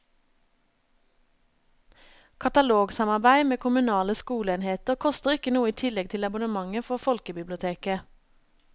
Katalogsamarbeid med kommunale skoleenheter koster ikke noe i tillegg til abonnementet for folkebiblioteket.